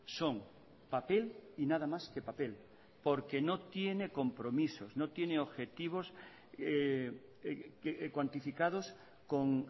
son papel y nada más que papel porque no tiene compromisos no tiene objetivos cuantificados con